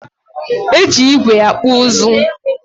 Eji ígwè akpụ ụzụ